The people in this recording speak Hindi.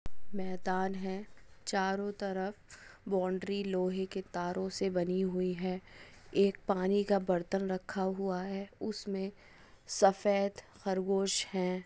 मै-दान हे चारों तरफ बाउन्ड्री लोहे के तारोंसे बनी हुई हे एक पानि का बरतन रखा हुआ हे उसमे सफेद खरगोस हे।